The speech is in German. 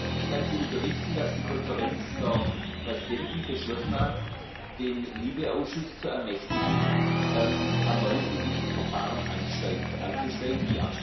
Ich kann Sie unterrichten, dass die Konferenz der Präsidenten beschlossen hat, den LIBE Ausschuss zu ermächtigen, erneut in dieses Verfahren einzusteigen.